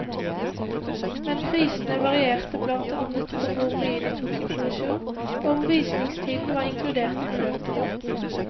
Men prisene varierte blant annet på hvor mye de tok i provisjon og om visningstimen var inkludert i beløpet.